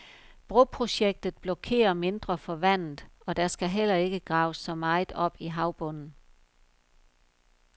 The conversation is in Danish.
Broprojektet blokerer mindre for vandet, og der skal heller ikke graves så meget op i havbunden.